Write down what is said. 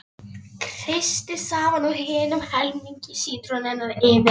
Kreistið safann úr hinum helmingi sítrónunnar yfir.